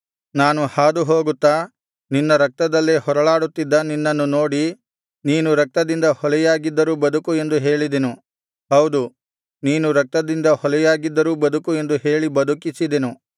ನಾನು ಹಾದುಹೋಗುತ್ತಾ ನಿನ್ನ ರಕ್ತದಲ್ಲೇ ಹೊರಳಾಡುತ್ತಿದ್ದ ನಿನ್ನನ್ನು ನೋಡಿ ನೀನು ರಕ್ತದಿಂದ ಹೊಲೆಯಾಗಿದ್ದರೂ ಬದುಕು ಎಂದು ಹೇಳಿದೆನು ಹೌದು ನೀನು ರಕ್ತದಿಂದ ಹೊಲೆಯಾಗಿದ್ದರೂ ಬದುಕು ಎಂದು ಹೇಳಿ ಬದುಕಿಸಿದೆನು